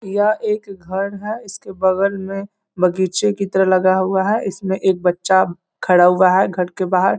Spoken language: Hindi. यह एक घर है इसके बगल में बगीचे की तरह लगा हुआ है इसमे एक बच्चा खड़ा हुआ है घर के बाहर।